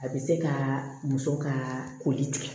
A bɛ se ka muso ka koli tigɛ